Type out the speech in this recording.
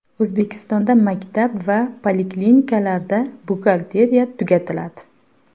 O‘zbekistonda maktab va poliklinikalarda buxgalteriya tugatiladi .